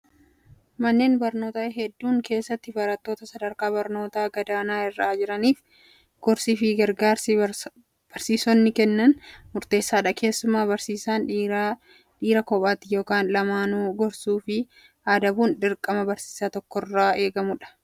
Manneen barnootaa hedduun keessatti barattoota sadarkaa barnootaa gadaanaa irra jiraniif gorsii fi gargaarsi barsiisonni Kennan murteessaadha. Keessumaa barsiisaan dhiiraa dhiira kophaatti yookaan lamaanuu gorsuu fi adabuun dirqama barsiisaa tokkorraa eegamudha.